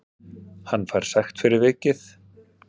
Hann fær sekt fyrir vikið